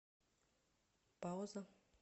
пауза